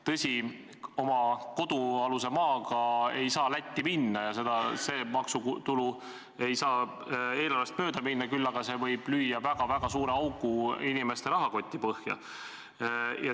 Tõsi, oma kodualuse maaga ei saa Lätti minna ja see maksutulu ei saa eelarvest mööda minna, küll aga võib see lüüa väga-väga suure augu inimeste rahakoti põhja.